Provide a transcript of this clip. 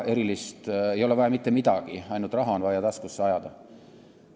Ei ole vaja mitte midagi, ainult raha on vaja taskusse ajada.